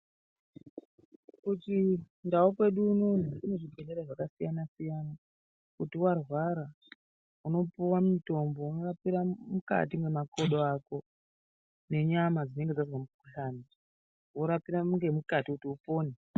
Ku chindau kwedu unono kune zvibhelera zvakasiyana siyana kuti warwara unopuwa mutombo unorapira mukati mwemakodo ako nenyama dzinenge dzazwa mukuhlani worapira ngemukati kuti upone.